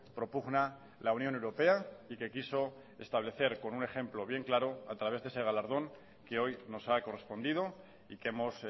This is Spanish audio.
propugna la unión europea y que quiso establecer con un ejemplo bien claro a través de ese galardón que hoy nos ha correspondido y que hemos